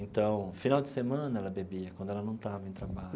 Então, final de semana ela bebia, quando ela não estava em trabalho.